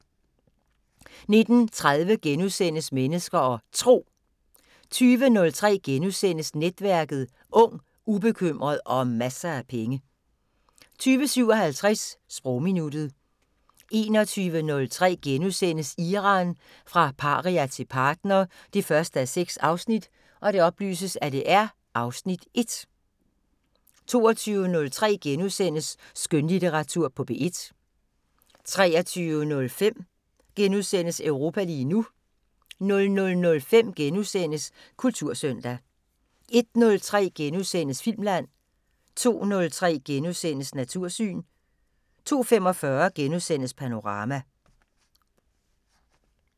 19:30: Mennesker og Tro * 20:03: Netværket: Ung, ubekymret og masser af penge * 20:57: Sprogminuttet 21:03: Iran – fra paria til partner 1:6 (Afs. 1)* 22:03: Skønlitteratur på P1 * 23:05: Europa lige nu * 00:05: Kultursøndag * 01:03: Filmland * 02:03: Natursyn * 02:45: Panorama *